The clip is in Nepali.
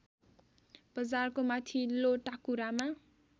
बजारको माथिल्लो टाकुरामा